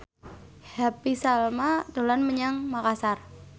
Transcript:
Happy Salma dolan menyang Makasar